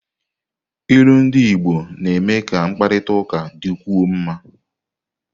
Ilu ndị Igbo na-eme ka mkparịta ụka dịkwuo mma.